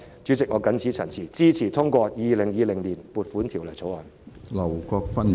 主席，我謹此陳辭，支持通過《2020年撥款條例草案》。